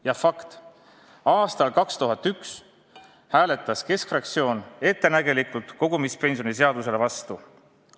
Ja fakt: aastal 2001 hääletas keskfraktsioon ettenägelikult kogumispensionide seaduse vastu.